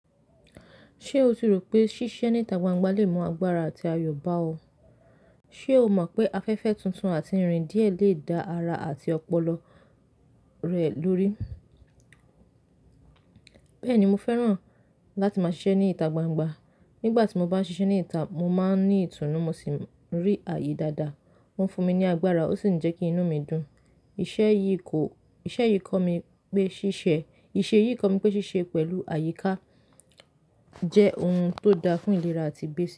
Ṣé o tí rò pé ṣíṣe ní ita gbangba le mú agbára àti ayọ̀ bá ọ? Ṣé o mọ̀ pé afẹ́fẹ́ tuntun àti irin díẹ̀ lè da ara àti ọpọlọ rẹ lórí? Bẹ́ẹ̀ni, mo fẹ́ràn láti máa ṣiṣẹ́ ní ita gbangba. Nígbà tí mo bá ṣiṣẹ́ ní ita, mo máa ń ní ìtùnú, mo sì ń rí ààyè dáadáa. Ó ń fún mi ní agbára ó sì ń jẹ́ kí inú mi dùn. Iṣẹ́ yìí kọ̀, iṣẹ́ yìí kọ́ mi pé ṣíṣe, iṣẹ́ yìí kọ́ mi pé ṣíṣe pẹ̀lú àyíká jẹ́ ohun tó da fún ìlera àti béèsì.